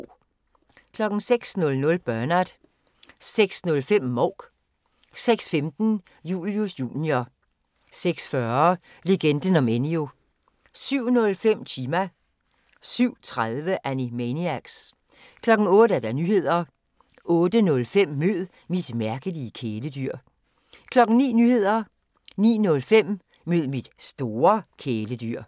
06:00: Bernard 06:05: Mouk 06:15: Julius Jr. 06:40: Legenden om Enyo 07:05: Chima 07:30: Animaniacs 08:00: Nyhederne 08:05: Mød mit mærkelige kæledyr 09:00: Nyhederne 09:05: Mød mit store kæledyr